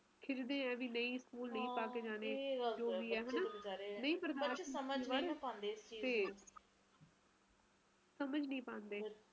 ਨਾ ਠੰਡ ਨਾ ਗਰਮੀ ਵਿਚ ਜਾ ਮੌਸਮ ਹੁੰਦਾ ਹੋਰ ਕੀ ਵਿਚ ਮੌਸਮ ਵਧੀਆ ਹੁੰਦਾ ਨਾ ਠੰਡ ਨਾ ਇੰਨੇ ਠੰਡ ਹੁੰਦੀ ਆ ਨਾ ਗਰਮੀ ਨਾਲੇ ਵਧੀਆ ਰਹਿੰਦਾ ਬੰਦਾ